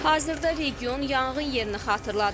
Hazırda region yanğın yerini xatırladır.